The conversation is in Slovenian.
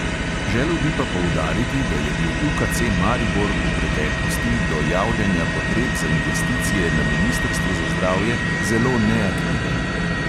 Želel bi pa poudariti, da je bil UKC maribor v preteklosti do javljanja potreb za investicije na ministrstvu za zdravje zelo neaktiven.